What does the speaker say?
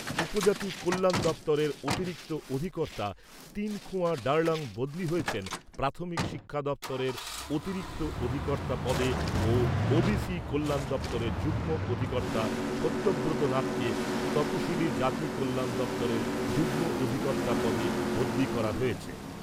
উপজাতি কল্যাণ দপ্তরের অতিরিক্ত অধিকর্তা তিনথুমা ডার্লং বদলি হয়েছেন প্রাথমিক শিক্ষা দপ্তরের অতিরিক্ত অধিকর্তা পদে ও ওবিসি কল্যাণ দপ্তরের যুগ্ম অধিকর্তা সত্যব্রত নাথকে তপশিলী জাতি কল্যাণ দপ্তরের যুগ্ম অধিকর্তা পদে বদলি করা হয়েছে।